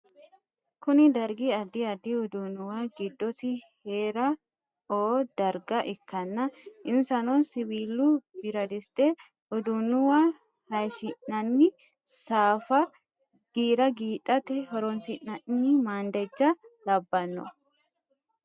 Kuni darigi adid adid udunuwa gidosi Hera o dariga ikana insano; siwilu biradisite, udunuwa hayishshinanni safa gira gidhate horonisinani mandeja labbano